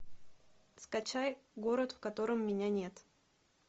скачай город в котором меня нет